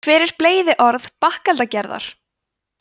hver er bleyðiorð bakeldagerðar